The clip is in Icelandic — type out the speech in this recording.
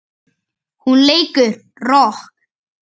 Hún leikur rokk.